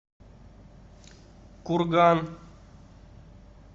курган